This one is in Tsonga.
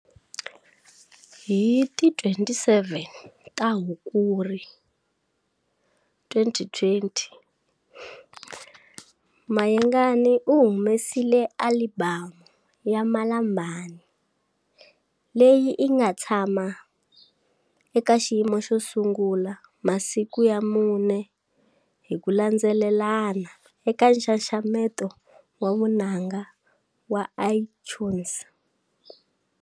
Hi ti 27 ta Hikuri 2020 Mayengani u humesile alibamu ya 'Malambani' leyi inga tshama eka xiyimo xo sungula masiku ya mune hi ku landzelelana eka nxaxameto wa vunanga wa Itunes.